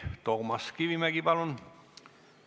Toomas Kivimägi, palun!